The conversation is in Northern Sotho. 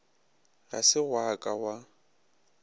ga se gwa ka gwa